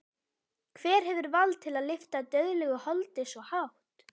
Hver hefur vald til að lyfta dauðlegu holdi svo hátt?